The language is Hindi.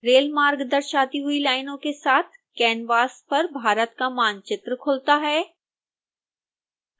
रेलमार्ग दर्शाती हुई लाइनों के साथ कैनवास पर भारत का मानचित्र खुलता है